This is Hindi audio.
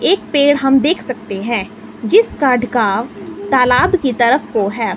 एक पेड़ हम देख सकते हैं जिस कार्ड का तालाब की तरफ है।